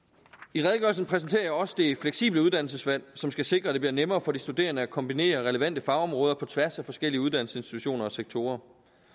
i redegørelsen præsenterer jeg også det fleksible uddannelsesvalg som skal sikre at det bliver nemmere for de studerende at kombinere relevante fagområder på tværs af forskellige uddannelsesinstitutioner og sektorer